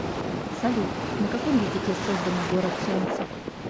салют на каком языке создано город солнца